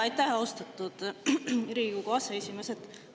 Aitäh, austatud Riigikogu aseesimees!